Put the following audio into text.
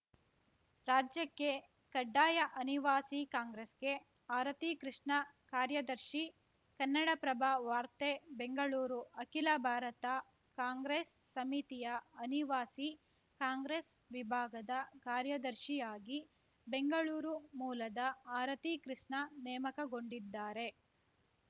ರಾಜ್ಯಕ್ಕೆ ಕಡ್ಡಾಯ ಅನಿವಾಸಿ ಕಾಂಗ್ರೆಸ್‌ಗೆ ಆರತಿ ಕೃಷ್ಣ ಕಾರ‍್ಯದರ್ಶಿ ಕನ್ನಡಪ್ರಭ ವಾರ್ತೆ ಬೆಂಗಳೂರು ಅಖಿಲ ಭಾರತ ಕಾಂಗ್ರೆಸ್‌ ಸಮಿತಿಯ ಅನಿವಾಸಿ ಕಾಂಗ್ರೆಸ್‌ ವಿಭಾಗದ ಕಾರ್ಯದರ್ಶಿಯಾಗಿ ಬೆಂಗಳೂರು ಮೂಲದ ಆರತಿ ಕೃಷ್ಣ ನೇಮಕಗೊಂಡಿದ್ದಾರೆ